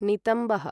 नितम्बः